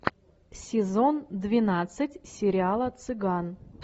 сезон двенадцать сериала цыган